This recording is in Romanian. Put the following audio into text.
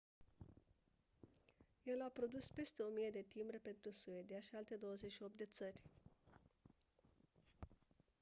el a produs peste 1000 de timbre pentru suedia și alte 28 de țări